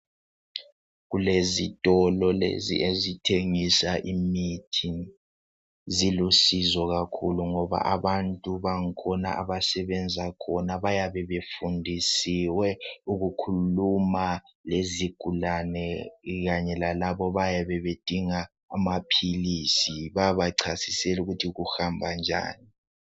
Kulezitolo lezi ezithengisa imithi, zilusizo kakhulu ngoba abantu bakhona abasebenza khona bayabe befundisiwe ukukhuluma lezigulane kanye labantu abayabe bedinga amaphilisi bayabachasisela ukuthi kuhamba njani.